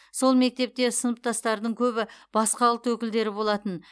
сол мектепте сыныптастардың көбі басқа ұлт өкілдері болатын